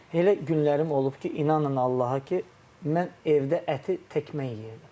Elə günlərim olub ki, inanın Allaha ki, mən evdə əti tək mən yeyirdim.